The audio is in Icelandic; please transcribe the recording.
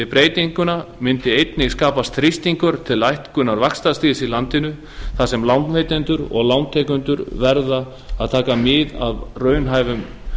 breytinguna mundi einnig skapast þrýstingur til lækkunar vaxtastigs í landinu þar sem lánveitendur og lántakendur verða að taka mið af raunhæfum